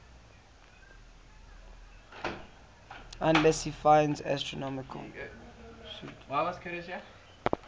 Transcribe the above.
ulansey finds astronomical